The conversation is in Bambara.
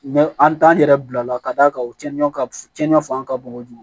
an t'an yɛrɛ bila ka d'a kan u tiɲɛn ka f cɛnɲɔn fanga ka bon kojugu